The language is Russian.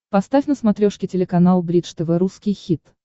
поставь на смотрешке телеканал бридж тв русский хит